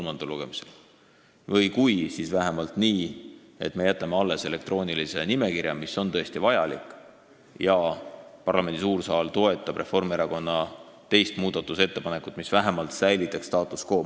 Või kui me seda teeme, siis tuleks teha vähemalt nii, et me jätame alles elektroonilise nimekirja, mis on tõesti vajalik, ja parlamendi suur saal toetab Reformierakonna teist muudatusettepanekut, mis vähemalt säilitaks status quo.